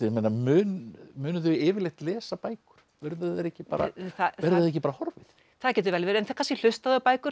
munu munu þau yfirleitt lesa bækur verður það ekki bara ekki bara horfið það getur vel verið en þá kannski hlusta þau á bækur